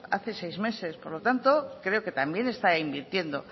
hace seis meses por lo tanto creo que también está invirtiendo